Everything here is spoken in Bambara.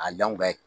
A dɔnku